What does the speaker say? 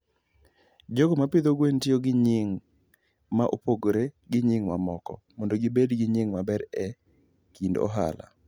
jogo ma pidho gwen tiyo gi nying' ma opogore gi nying' mamoko mondo gibed gi nying' maber e kind ohala.